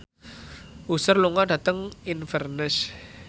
Usher lunga dhateng Inverness